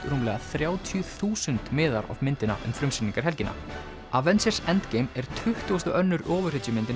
rúmlega þrjátíu þúsund miðar á myndina um frumsýningarhelgina avengers endgame er tuttugasti og annar